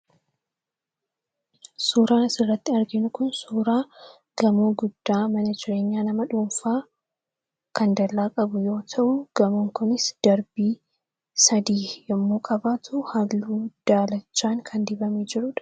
Suuraan asirratti arginu Kun, suuraa gamoo guddaa mana jireenyaa nama dhuunfaa kan dallaa qabu yoo ta'u , gamoon kunis darbii sadii yemmuu qabaatu, halluu daalachaan kan dibamee jirudha.